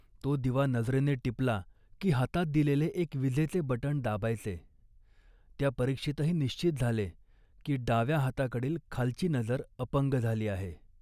तो दिवा नजरेने टिपला की हातात दिलेले एक विजेचे बटण दाबायचे. त्या परीक्षेतही निश्चित झाले, की डाव्या हाताकडील खालची नजर अपंग झाली आहे